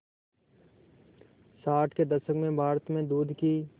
साठ के दशक में भारत में दूध की